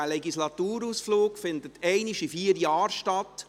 Dieser Legislaturausflug findet einmal alle vier Jahre statt.